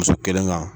Muso kelen kan